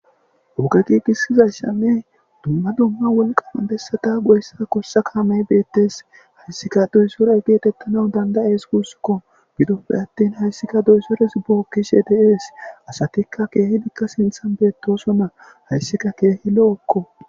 Oge giigisizaysanne dumma dumma wolqama bessata goyiza gosha kaamey beettees hayssika doyzore geetettanawu dandayees guussukko gidoppe attin hayssika duysores bookkishe deees asatikka keehidikka sinthan beettosonna hayssika keehi lo7okko